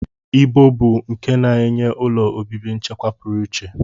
Ibo bụ nke na-enye ụlọ obibi nchekwa pụrụ iche